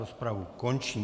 Rozpravu končím.